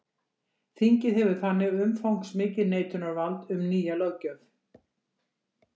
Þingið hefur þannig umfangsmikið neitunarvald um nýja löggjöf.